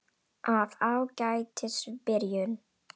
Af Ágætis byrjun